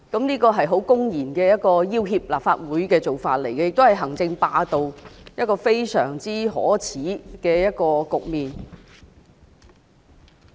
這是一個公然要脅立法會的做法，亦是行政霸道，是一個非常可耻的局面。